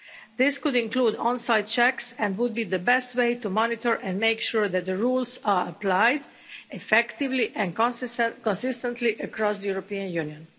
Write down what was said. This could include on site checks and would be the best way to monitor and make sure that the rules are applied effectively and consistently across the European Union.